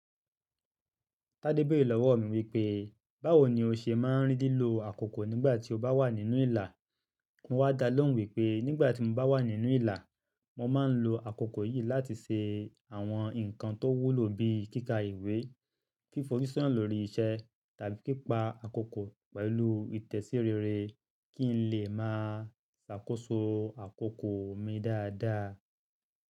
Tade béèrè lọ́wọ́ mi wípé, báwo ni o ṣe máa ń rí lílo àkókò nígbà tí o bá wà nínú ìlà? Mo wá dá lóhùn wípé, nígbà tí mo bá wà nínú ìlà, mo máa ń lo àkókò yìí láti ṣe àwọn nǹkan tó wúlò bí i kíkà ìwé, fífo síṣán lórí iṣẹ́ tàbí pipa àkókò pẹ̀lú ìtẹ̀síreere kí n lè máa ṣàkóso àkókò mi dáadáa.